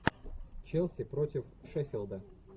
челси против шеффилда